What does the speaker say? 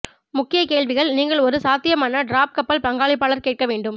முக்கிய கேள்விகள் நீங்கள் ஒரு சாத்தியமான டிராப் கப்பல் பங்களிப்பாளர் கேட்க வேண்டும்